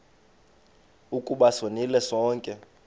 ukuba sonile sonke